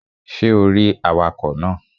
Ṣé o rí awakọ̀ náà?